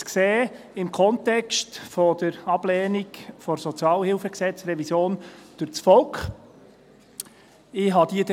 Sie ist im Kontext der Ablehnung der Revision des Gesetzes über die öffentliche Sozialhilfe (Sozialhilfegesetz, SHG) durch das Volk zu sehen.